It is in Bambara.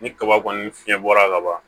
Ni kaba kɔni fiɲɛbɔra kaban